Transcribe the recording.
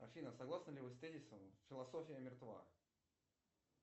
афина согласны ли вы с тезисом философия мертва